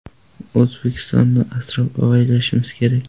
O‘zbekistonni asrab-avaylashimiz kerak.